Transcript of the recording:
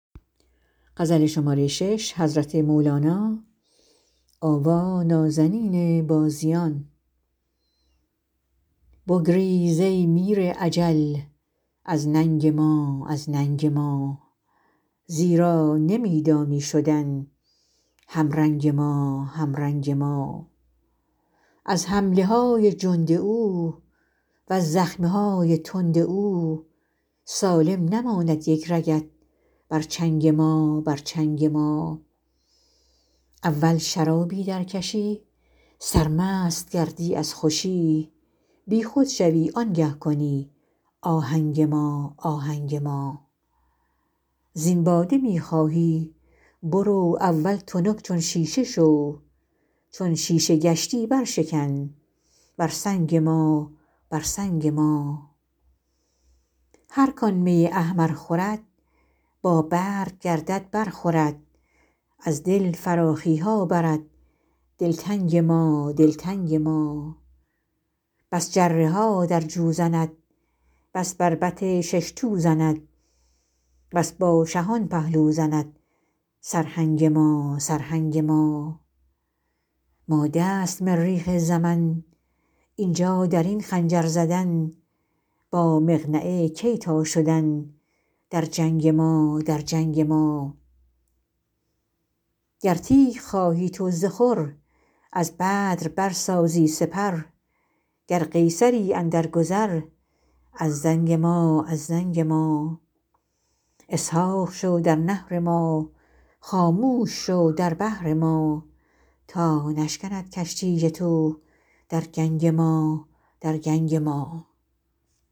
بگریز ای میر اجل از ننگ ما از ننگ ما زیرا نمی دانی شدن همرنگ ما همرنگ ما از حمله های جند او وز زخم های تند او سالم نماند یک رگت بر چنگ ما بر چنگ ما اول شرابی درکشی سرمست گردی از خوشی بیخود شوی آنگه کنی آهنگ ما آهنگ ما زین باده می خواهی برو اول تنک چون شیشه شو چون شیشه گشتی برشکن بر سنگ ما بر سنگ ما هر کان می احمر خورد بابرگ گردد برخورد از دل فراخی ها برد دلتنگ ما دلتنگ ما بس جره ها در جو زند بس بربط شش تو زند بس با شهان پهلو زند سرهنگ ما سرهنگ ما ماده است مریخ زمن این جا در این خنجر زدن با مقنعه کی تان شدن در جنگ ما در جنگ ما گر تیغ خواهی تو ز خور از بدر برسازی سپر گر قیصری اندرگذر از زنگ ما از زنگ ما اسحاق شو در نحر ما خاموش شو در بحر ما تا نشکند کشتی تو در گنگ ما در گنگ ما